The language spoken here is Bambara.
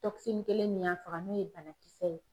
kelen min y'an faga n'o ye banakisɛ ye.